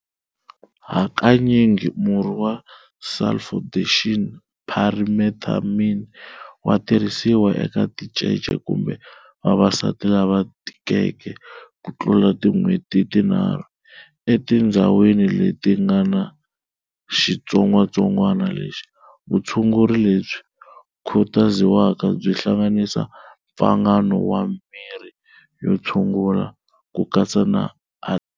Hakanyingi murhi wa sulfadoxine-pyrimethamine wa tirhisiwa eka tincece kumbe vavasati lava tikeke kutlula tin'weti tinharhu, etindzhawini leti ngana xitsongwatsongwana lexi. Vutshunguri lebyi khutaziwaka byi hlanganisa mpfangano wa mirhi yo tshungula ku katsa na.